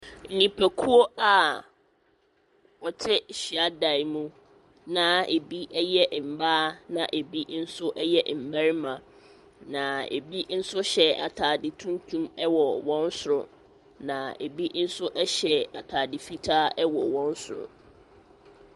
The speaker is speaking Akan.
Nnipakuo a wɔte hyiadan mu na ebi yɛ mmaa na ebi nso yɛ mmarima, na ebi nso hyɛ atade tuntum wɔ wɔn soro, na ebi nso hyɛ atade fitaa wɔ wɔn soro.